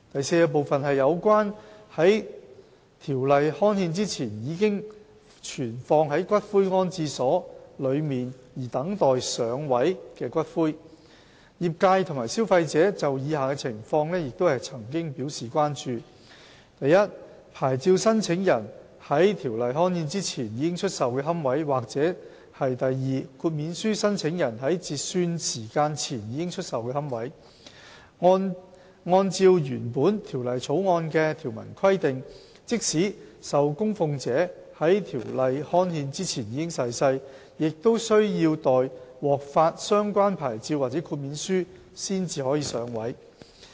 d 有關在條例刊憲前已存放於骨灰安置所內而等待"上位"的骨灰業界和消費者曾經就以下情況表示關注： i 牌照申請人在條例刊憲前已出售的龕位；或豁免書申請人在截算時間前已出售的龕位，按照原本《條例草案》的條文規定，即使受供奉者在條例刊憲前已逝世，也需要待獲發相關牌照或豁免書才可"上位"。